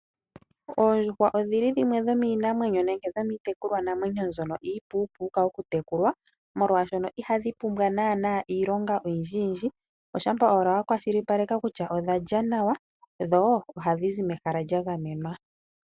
Oondjuhwa dhimwe dho miinamwenyo nenge iitekulwanamwenyo mbyono iipuupuuka okutekulwa, molwashoka ihadhi pumbwa naanaa esiloshimpwiyu olindjilindji, shampa ashike wa kwashilipaleka kutya odha lya nawa dho ohadhi zi mehala lya gamenwa.